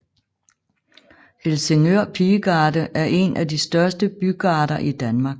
Helsingør Pigegarde er en af de største bygarder i Danmark